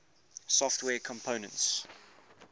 software components